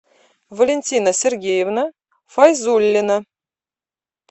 валентина сергеевна файзуллина